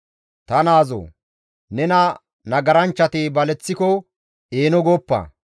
Ta naazoo! Nena nagaranchchati baleththiko eeno gooppa.